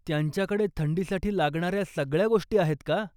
त्यांच्याकडे थंडीसाठी लागणाऱ्या सगळ्या गोष्टी आहेत का?